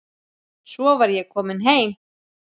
Svo var ég komin heim.